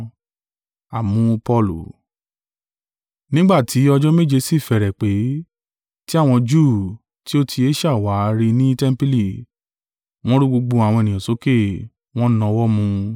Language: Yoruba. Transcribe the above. Nígbà tí ọjọ́ méje sì fẹ́rẹ̀ pé, tí àwọn Júù tí ó ti Asia wá rí i ni tẹmpili, wọ́n rú gbogbo àwọn ènìyàn sókè, wọ́n nawọ́ mú un.